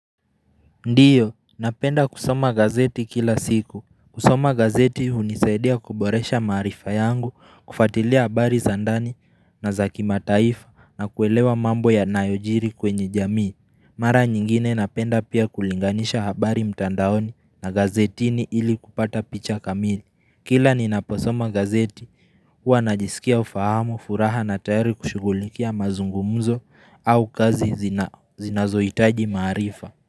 Ndiyo, napenda kusoma gazeti kila siku. Kusoma gazeti unisaidia kuboresha marifa yangu, kufatilia habari zandani na zakimataifa na kuelewa mambo ya nayojiri kwenye jamii. Mara nyingine napenda pia kulinganisha habari mtandaoni na gazetini ili kupata picha kamili. Kila ninaposoma gazeti, hua najisikia ufahamu, furaha na tayari kushugulikia mazungumuzo au kazi zinazoitaji marifa.